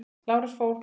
Lárus fór.